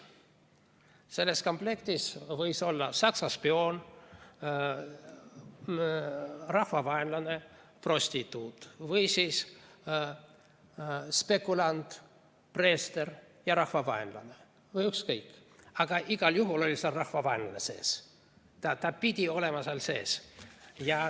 Selles komplektis võis olla Saksa spioon, rahvavaenlane, prostituut, spekulant, preester või ükskõik kes, aga igal juhul oli seal rahvavaenlane, ta pidi olema seal sees.